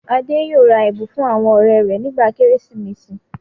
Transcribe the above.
Adé yóò ra ẹ̀bùn fún àwọn ọ̀rẹ́ rẹ̀ nígbà Kérésìmesì.